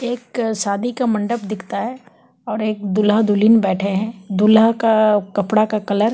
एक शादी का मंडप दिखता है और एक दूल्हा दुल्हिन बैठे है दूल्हा का कपड़ा का कलर --